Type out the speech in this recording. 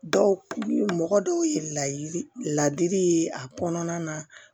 Dɔw mɔgɔ dɔw ye ladiri ye a kɔnɔna na